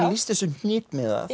lýsti þessu hnitmiðað